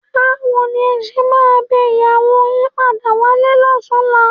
Báwo ni ẹ ṣe máa bẹ ìyàwó yín padà wálé lọ́tùnúnlá?